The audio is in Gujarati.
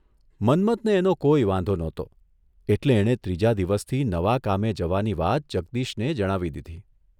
મન્મથને એનો કોઇ વાંધો નહોતો એટલે એણે ત્રીજા દિવસથી નવા કામે જવાની વાત જગદીશને જણાવી દીધી.